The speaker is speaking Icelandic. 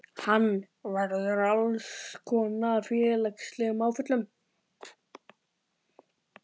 Hann verður fyrir alls konar félagslegum áföllum.